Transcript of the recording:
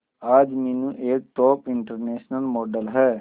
आज मीनू एक top international model है